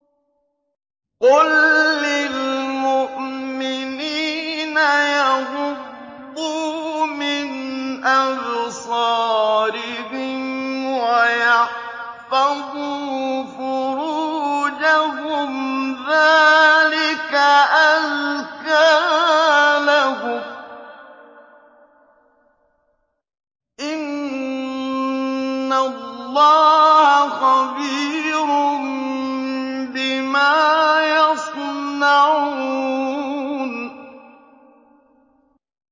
قُل لِّلْمُؤْمِنِينَ يَغُضُّوا مِنْ أَبْصَارِهِمْ وَيَحْفَظُوا فُرُوجَهُمْ ۚ ذَٰلِكَ أَزْكَىٰ لَهُمْ ۗ إِنَّ اللَّهَ خَبِيرٌ بِمَا يَصْنَعُونَ